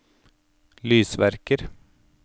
lysverker